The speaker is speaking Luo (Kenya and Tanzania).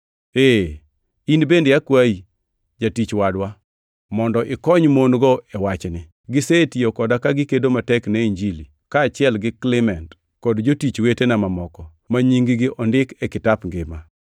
Ee, in bende akwayi, jatich wadwa, mondo ikony mon-go e wachni. Gisetiyo koda ka gikedo matek ne Injili, kaachiel gi Klement kod jotich wetena mamoko ma nying-gi ondiki e kitap ngima.